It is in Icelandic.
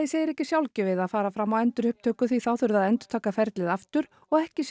segir ekki sjálfgefið að fara fram á endurupptöku því þá þurfi að endurtaka ferlið aftur og ekki